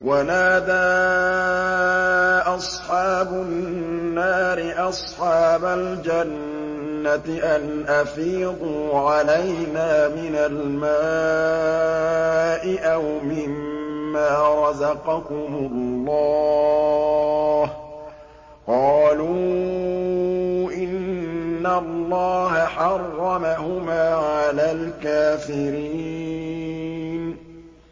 وَنَادَىٰ أَصْحَابُ النَّارِ أَصْحَابَ الْجَنَّةِ أَنْ أَفِيضُوا عَلَيْنَا مِنَ الْمَاءِ أَوْ مِمَّا رَزَقَكُمُ اللَّهُ ۚ قَالُوا إِنَّ اللَّهَ حَرَّمَهُمَا عَلَى الْكَافِرِينَ